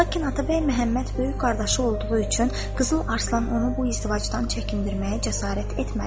Lakin Atabəy Məhəmməd böyük qardaşı olduğu üçün Qızıl Arslan onu bu izdivacdan çəkindirməyə cəsarət etmədi.